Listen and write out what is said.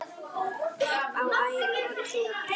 Upp á æru og trú.